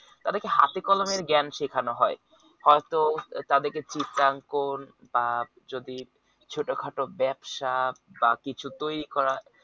তাদেরকে হাতেকলমের জ্ঞান শেখানো হয় হয়তো তাদেরকে চিত্রাংকন বা যদি ছোটখাটো ব্যবসা বা কিছু তৈরি করা